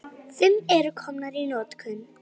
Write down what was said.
Fimm eru komnar í notkun.